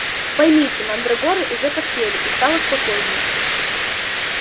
поймите мандрагоры уже поспели и стало спокойнее